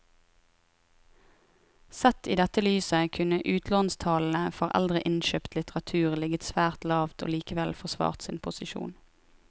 Sett i dette lyset kunne utlånstallene for eldre innkjøpt litteratur ligget svært lavt og likevel forsvart sin posisjon.